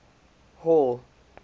hall